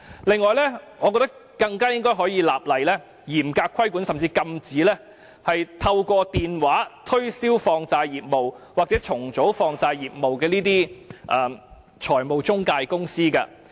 此外，我認為政府更應立法嚴格規管——甚至禁止——財務中介公司透過電話推銷放債或債務重組業務。